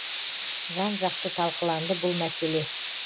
жан жақты талқыланды бұл мәселе